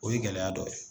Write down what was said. O ye gɛlɛya dɔ ye